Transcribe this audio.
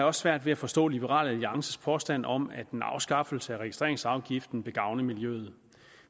også svært ved at forstå liberal alliances påstand om at en afskaffelse af registreringsafgiften gavne miljøet